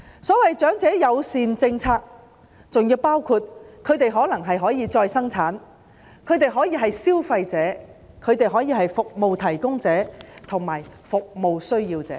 所謂長者友善政策，包括他們可以再生產，可以是消費者、服務提供者和服務需要者。